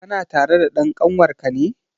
Kana tare da dan kanwar ka ne?